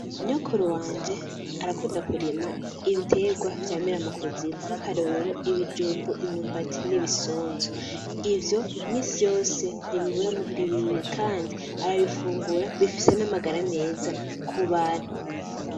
Nyokuru wanje arakunda kurima ibiterwa vy'amira mukuzimu nk'akarorero ibijumbu, imyumbati n'ibisunzu, ivyo misi yose ntibibura muhira iwiwe Kandi arabifungura, bifise n'amagara meza kubantu.